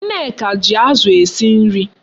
Nneka ji Azu esi nri